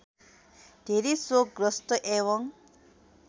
धेरै शोकग्रस्त एवं